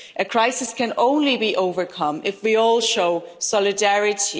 A crisis can only be overcome if we all show solidarity.